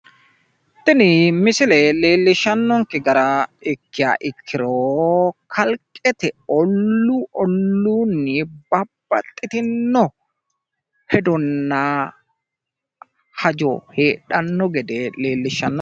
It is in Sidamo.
Tini misile leellishshannonkke gara ikkiha ikkiro, kalqqete olluu olluunni babbaxitinno hedonna hajo heedhanno gede leellishshanno.